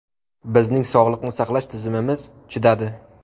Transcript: Bizning sog‘liqni saqlash tizimimiz chidadi.